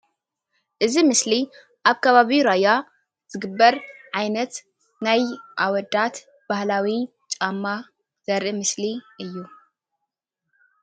እዚ ምስሊ ኣብ ከባቢ ራያ ዝግበር ዓይነት ናይ ኣወዳት ባህላዊ ጫማ ዘርኢ ምስሊ እዩ።